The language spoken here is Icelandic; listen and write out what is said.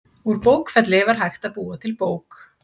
Úr bókfelli var hægt að búa til bók.